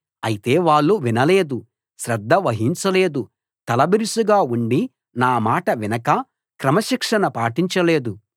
అయితే వాళ్ళు వినలేదు శ్రద్ధ వహించలేదు తలబిరుసుగా ఉండి నా మాట వినక క్రమశిక్షణ పాటించలేదు